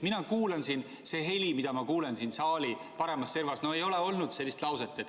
Mina kuulan siin ja see heli, mida ma kuulen siin saali paremas servas – no ei ole olnud sellist lauset.